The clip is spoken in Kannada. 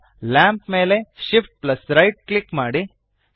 ಈಗ ಲ್ಯಾಂಪ್ ಮೇಲೆ Shift ಪ್ಲಸ್ ರೈಟ್ ಕ್ಲಿಕ್ ಮಾಡಿ